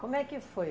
Como é que foi?